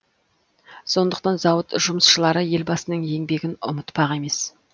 сондықтан зауыт жұмысшылары елбасының еңбегін ұмытпақ емес